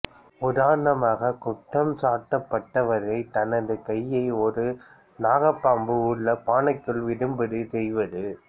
உதாரணமாக குற்றம் சாட்டப்பட்டவரை தனது கையை ஒரு நாகப்பாம்பு உள்ள பானைக்குள் விடும்படி செய்வது